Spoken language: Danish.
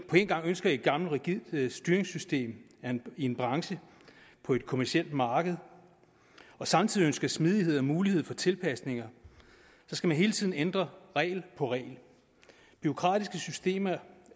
gang ønsker et gammelt rigidt styringssystem i en branche på et kommercielt marked og samtidig ønsker smidighed og mulighed for tilpasninger så hele tiden skal ændre regel på regel bureaukratiske systemer